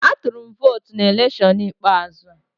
Atụrụ m votu na electiọnụ ikpeazụ a